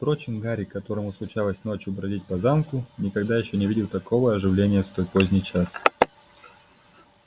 впрочем гарри которому случалось ночью бродить по замку никогда ещё не видел такого оживления в столь поздний час